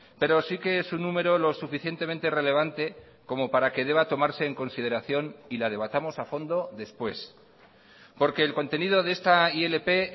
pero sí que es un número lo suficientemente relevante como para que deba tomarse en consideración y la debatamos a fondo después porque el contenido de esta ilp